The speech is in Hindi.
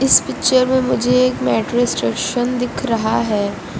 इस पिक्चर में मुझे एक मेट्रो स्टेशन दिख रहा है।